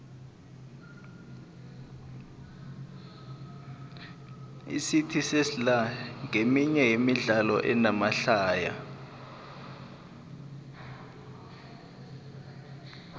icity sesla nqeminye yemidlalo enamahlaya